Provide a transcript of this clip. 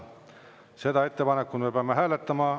Seda ettepanekut me peame hääletama.